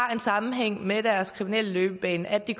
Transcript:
har en sammenhæng med deres kriminelle løbebane er det